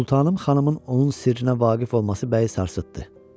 Sultanım xanımın onun sirrinə vaqif olması bəyi sarsıtdı.